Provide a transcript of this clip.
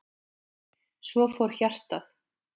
Svo fór hjartað.